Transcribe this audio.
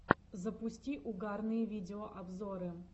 запусти угарные видеообзоры